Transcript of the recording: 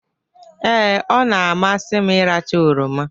Ee, ọ na-amasị m ịracha oroma.